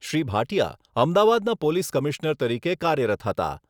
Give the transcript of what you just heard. શ્રી ભાટિયા અમદાવાદના police commissioner તરીકે કાર્યરત હતા.